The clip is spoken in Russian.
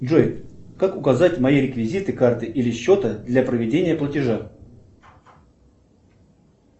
джой как указать мои реквизиты карты или счета для проведения платежа